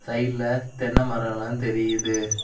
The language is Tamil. சைடுல தென்ன மரோல்லா தெரியுது.